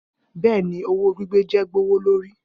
Bẹẹni, owo gbigbe jẹ gbowolori.